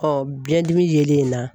biyɛndimi yelen in na